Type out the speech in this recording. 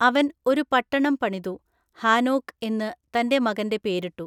അവൻ ഒരു പട്ടണം പണിതു, ഹാനോക്ക് എന്നു തന്റെ മകൻ്റെ പേരിട്ടു.